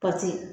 Pati